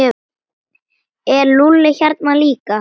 Er Lúlli hérna líka?